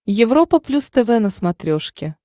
европа плюс тв на смотрешке